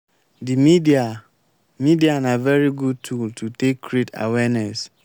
di media media na very good tool to take create awareness